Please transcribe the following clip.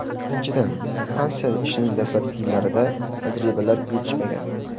Birinchidan, stansiya ishining dastlabki yillarida tajribalar yetishmagan.